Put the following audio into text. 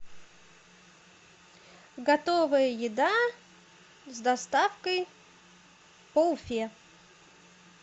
готовая еда с доставкой по уфе